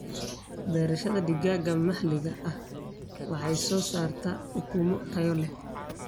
Beerashada digaaga maxaliga ahi waxay soo saartaa ukumo tayo leh.